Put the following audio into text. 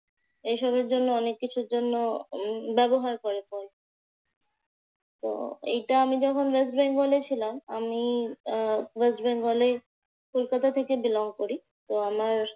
এইসবের জন্য অনেক কিছুর জন্য উম ব্যবহার করে ফল। তো এইটা আমি যখন ওয়েস্ট বেঙ্গলে ছিলাম আমি আহ ওয়েস্ট বেঙ্গলে, কলকাতা থেকে belong করি। আমার